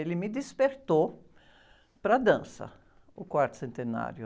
Ele me despertou para a dança, o quarto centenário.